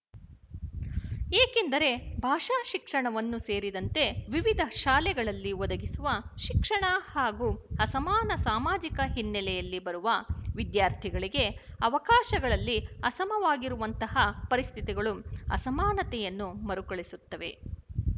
ಏಕೆಂದರೆ ಭಾಷಾ ಶಿಕ್ಷಣವನ್ನೂ ಸೇರಿದಂತೆ ವಿವಿಧ ಶಾಲೆಗಳಲ್ಲಿ ಒದಗಿಸುವ ಶಿಕ್ಷಣ ಹಾಗೂ ಅಸಮಾನ ಸಾಮಾಜಿಕ ಹಿನ್ನೆಲೆಯಲ್ಲಿ ಬರುವ ವಿದ್ಯಾರ್ಥಿಗಳಿಗೆ ಅವಕಾಶಗಳಲ್ಲಿ ಅಸಮವಾಗಿರುವಂತಹ ಪರಿಸ್ಥಿತಿಗಳು ಅಸಮಾನತೆಯನ್ನು ಮರುಕಳಿಸುತ್ತವೆ